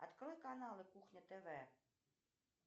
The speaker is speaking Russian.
открой каналы кухня тв